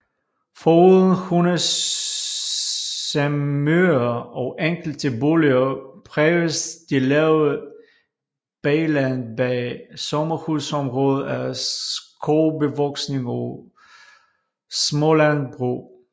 Foruden Hundsemyre og enkelte boliger præges det lave bagland bag sommerhusområdet af skovbevoksning og smålandbrug